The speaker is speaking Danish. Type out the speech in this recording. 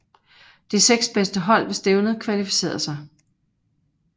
De seks bedste hold ved stævnet kvalificerede sig